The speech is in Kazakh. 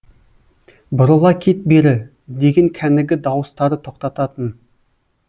бұрыла кет бері деген кәнігі дауыстары тоқтататын